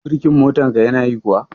Birkin motar ka ya na yi kuwa?